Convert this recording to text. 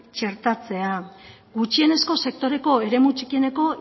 txertatzea gutxienezko sektoreko eremu txikieneko